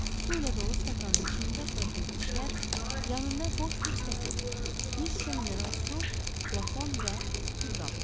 Su ilə dolu stakanın içində protez dişlər, yanında boş bir stəkan, bir şüşə mineral su, flakon və külqabı.